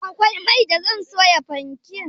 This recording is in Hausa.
Akwai mai da zan soya fanke